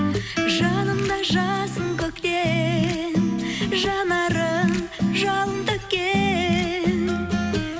жанымдай жассың көктем жанарың жалын төккен